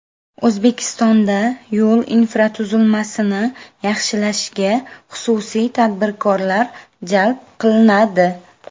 O‘zbekistonda yo‘l infratuzilmasini yaxshilashga xususiy tadbirkorlar jalb qilinadi.